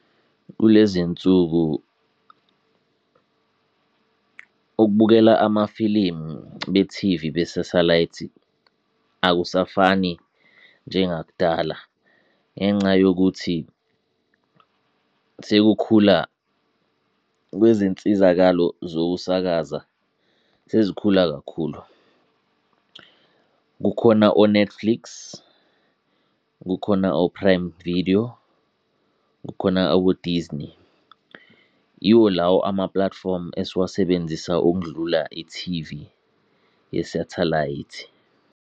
Kule zinsuku ukubukela amafilimu be-T_V be-satellite akusafani njengakudala ngenca yokuthi sekukhula kwezinsizakalo zokusakaza sezikhula kakhulu. Kukhona o-Netflix, kukhona o-Prime Video, kukhona abo-Disney. Yiwo lawo ama-platform esiwasebenzisa okundlula i-T_V ye-satellite.